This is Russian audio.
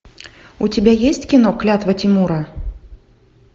у тебя есть кино клятва тимура